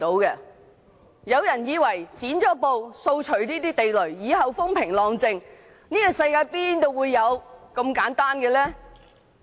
有人以為"剪布"掃除地雷後，以後便會風平浪靜，但這世界哪有如此簡單的事？